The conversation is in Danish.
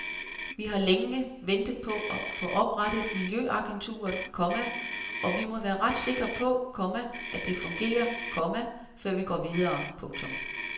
Vi har ventet længe på at få oprettet miljøagenturet, komma og vi må være ret sikre på, komma at det fungerer, komma før vi går videre. punktum